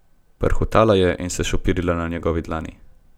Prhutala je in se šopirila na njegovi dlani.